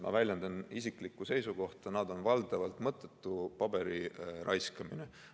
Ma väljendan isiklikku seisukohta, et see on valdavalt mõttetu paberi raiskamine.